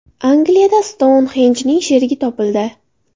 Angliyada Stounxenjning sherigi topildi.